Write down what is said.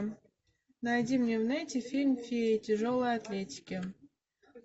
найди мне в нете фильм фея тяжелой атлетики